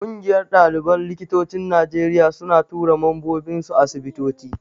Ƙungiyar ɗaliban likitocin Najeriya suna tura mambobinsu asibitoci.